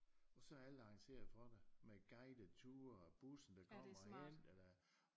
Og så er alt arrangeret for dig med guidet ture og bussen der kommer og henter dig